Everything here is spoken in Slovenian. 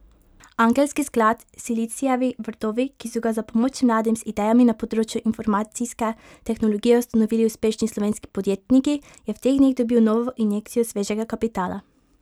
Angelski sklad Silicijevi vrtovi, ki so ga za pomoč mladim z idejami na področju informacijske tehnologije ustanovili uspešni slovenski podjetniki, je v teh dneh dobil novo injekcijo svežega kapitala.